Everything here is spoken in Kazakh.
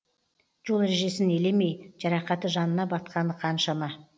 жол ережесін елемей жарақаты жанына батқаны қаншама